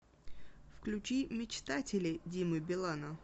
включи мечтатели димы билана